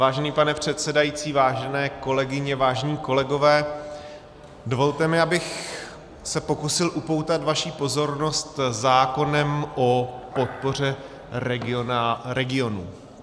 Vážený pane předsedající, vážené kolegyně, vážení kolegové, dovolte mi, abych se pokusil upoutat vaši pozornost zákonem o podpoře regionů.